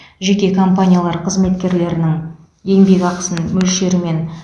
жеке компаниялар қызметкерлерінің еңбекақысының мөлшерімен